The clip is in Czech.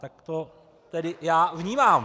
Tak to tedy já vnímám.